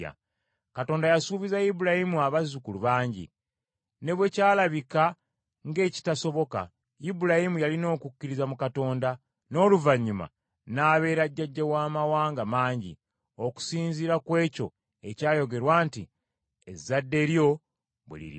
Katonda yasuubiza Ibulayimu abazzukulu bangi. Ne bwe kyalabika ng’ekitasoboka, Ibulayimu yalina okukkiriza mu Katonda, n’oluvannyuma n’abeera jjajja w’amawanga mangi, okusinziira ku ekyo ekyayogerwa nti, “Ezadde lyo bwe liriba.”